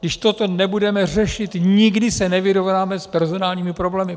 Když toto nebudeme řešit, nikdy se nevyrovnáme s personálními problémy.